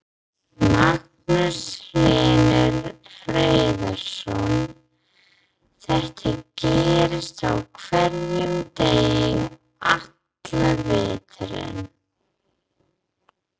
Magnús Hlynur Hreiðarsson: Þetta gerist á hverjum degi allan veturinn?